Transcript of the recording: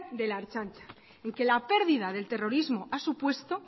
de la ertzaintza y que la pérdida del terrorismo a supuesto